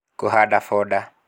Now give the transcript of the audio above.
Kũhanda foda